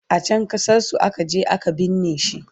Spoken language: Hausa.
a can ƙasar su akaje a ka binne shi